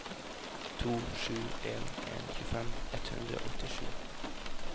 to sju en en tjuefem ett hundre og åttisju